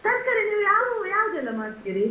ತರ್ಕಾರಿ ನೀವು ಯಾವ್ ಯಾವುದೆಲ್ಲ ಮಾಡ್ತೀರಿ?